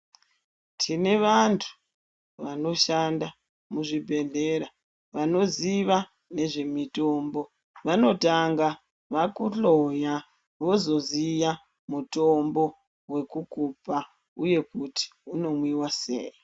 Tine vantu vanoshanda muzvibhedhlera vanoziva nezve mitombo vanotanga vakuhloya wozoziya mutombo wekukupa uye kuti unomwiwa sei.